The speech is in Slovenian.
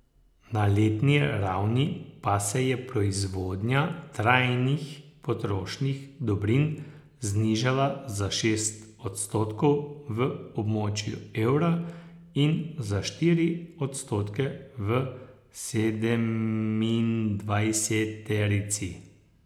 Na letni ravni pa se je proizvodnja trajnih potrošnih dobrin znižala za šest odstotkov v območju evra in za štiri odstotke v sedemindvajseterici.